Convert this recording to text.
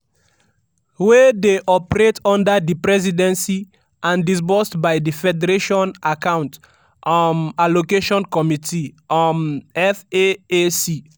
wey dey operate under di presidency and disbursed by di federation account um allocation committee um (faac).